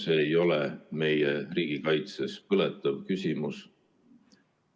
See ei ole meie riigikaitses põletav küsimus.